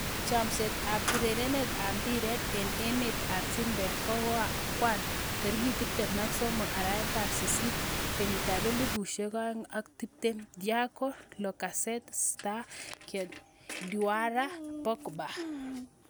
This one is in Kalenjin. Chomset ab urerenet ab mbiret eng emet ab chumbek koang'wan 13.08.2020: Thiago, Lacazette, Sarr, Grealish, Diawara, Pogba